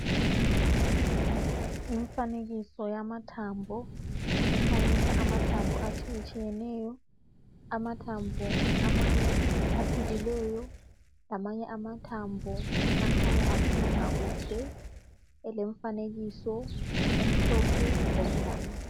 imfanekiso yamathambo ekhanyisa amathambo atshiyetshiyeneyo amathambo amanye aphilileyo lamanye amathambo akhanya engaphilanga kuhle elemfanekiso emhlophe lemnyama